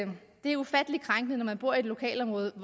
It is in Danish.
det er ufattelig krænkende når man bor i et lokalområde i